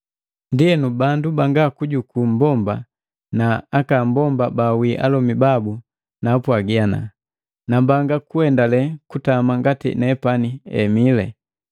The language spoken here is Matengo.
Ndienu bandu banga kujuku mmbomba na aka mbomba bawii alomi babu naapwagi, nambanga kuendale kutama ngati nepani emile.